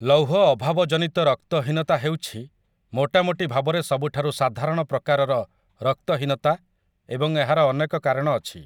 ଲୌହ ଅଭାବ ଜନିତ ରକ୍ତହୀନତା ହେଉଛି ମୋଟାମୋଟି ଭାବରେ ସବୁଠାରୁ ସାଧାରଣ ପ୍ରକାରର ରକ୍ତହୀନତା ଏବଂ ଏହାର ଅନେକ କାରଣ ଅଛି ।